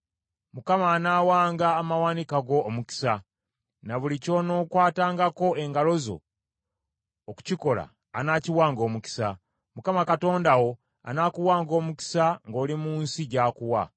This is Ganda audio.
Mukama anaawanga amawanika go omukisa, ne buli ky’onookwatangako engalo zo okukikola anaakiwanga omukisa. Mukama Katonda wo anaakuwanga omukisa ng’oli mu nsi gy’akuwa.